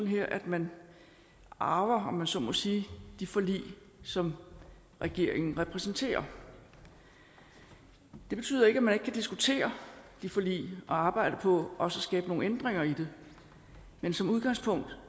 her at man arver om man så må sige de forlig som regeringen repræsenterer det betyder ikke at man ikke kan diskutere de forlig og arbejde på også at skabe nogle ændringer i dem men som udgangspunkt